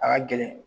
A ka gɛlɛn